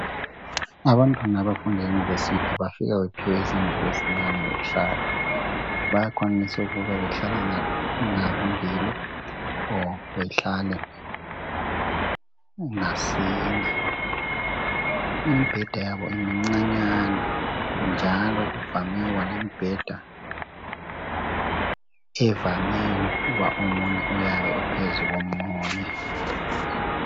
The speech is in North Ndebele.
Ngabantwana abafunda e-university bafika bephiwe izindlu ezincane zokuhlala. Bayakwanisa ukuba bahlale ngababili, kumbe ngabane. Imbheda yabo imncanyana, njalo kuvame ukuba lembheda, evame ukuthi omunye uyabe uphezu komunye.